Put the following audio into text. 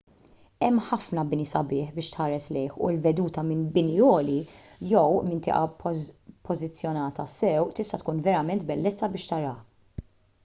hemm ħafna bini sabiħ biex tħares lejh u l-veduta minn bini għoli jew minn tieqa ppożizzjonata sew tista' tkun verament bellezza biex taraha